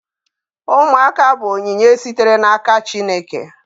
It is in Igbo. Ụmụaka bụ onyinye sitere n'aka Chineke.